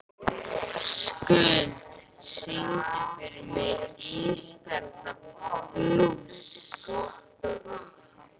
Skuld, syngdu fyrir mig „Ísbjarnarblús“.